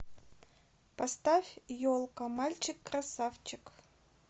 поставь елка мальчик красавчик